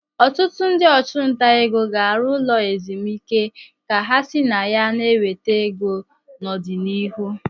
Ọtụtụ ndị ọchụnta ego ga-arụ ụlọ ezumike ka ha si na ya na-enweta ego n'ọdịnihu.